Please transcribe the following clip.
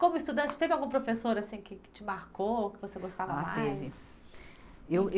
Como estudante, teve algum professor assim que, que te marcou, que você gostava mais? Ah, teve. Eu, eu